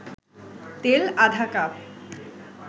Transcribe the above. তেল আধা কাপ